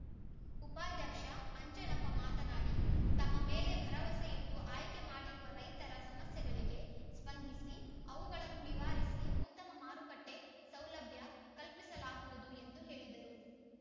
ಉಪಾಧ್ಯಕ್ಷ ಅಂಜನಪ್ಪ ಮಾತನಾಡಿ ತಮ್ಮ ಮೇಲೆ ಭರವಸೆ ಇಟ್ಟು ಆಯ್ಕೆ ಮಾಡಿರುವ ರೈತರ ಸಮಸ್ಯೆಗಳಿಗೆ ಸ್ಪಂದಿಸಿ ಅವುಗಳನ್ನು ನಿವಾರಿಸಿ ಉತ್ತಮ ಮಾರುಕಟ್ಟೆಸೌಲಭ್ಯ ಕಲ್ಪಿಸಲಾಗುವುದು ಎಂದು ಹೇಳಿದರು